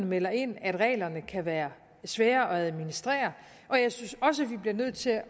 melder ind at reglerne kan være svære at administrere og jeg synes også at vi bliver nødt til